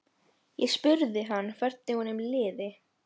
Ég spurði hann hvernig honum liði.